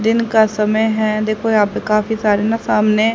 दिन का समय है देखो यहां पे काफी सारे न सामने--